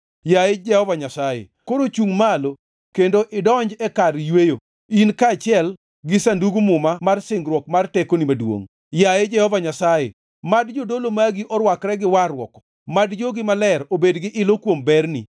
“Yaye Jehova Nyasaye, koro chungʼ malo kendo idonj e kar yweyo, in kaachiel gi Sandug Muma mar singruokni mar tekoni maduongʼ. Yaye Jehova Nyasaye, mad jodolo magi orwakre gi warruok, mad jogi maler obed gi ilo kuom berni.